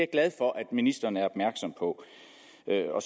glad for at ministeren er opmærksom på